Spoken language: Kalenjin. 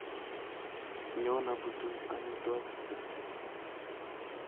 Nyon aputun amitwogik chu